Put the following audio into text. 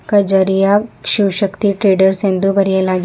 Kajaria Shivashakti traders ಎಂದು ಬರೆಯಲಾಗಿ --